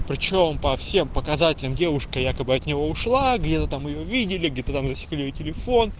ты что он по всем показателям девушка якобы от него ушла где-то там его видели где-то там засекли её телефон